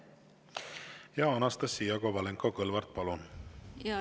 Anastassia Kovalenko-Kõlvart, palun!